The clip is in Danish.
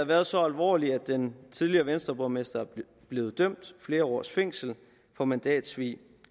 været så alvorlige at den tidligere venstreborgmester blev dømt til flere års fængsel for mandatsvig